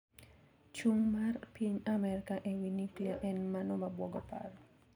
Chung` mar piny Amerka ewii nuklia en mano mabuogo paro.